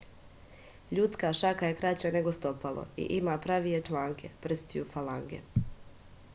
људска шака је краћа него стопало и има правије чланке прстију фаланге